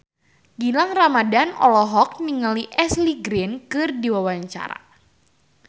Gilang Ramadan olohok ningali Ashley Greene keur diwawancara